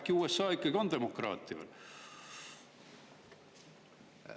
Äkki USA ikkagi on demokraatia?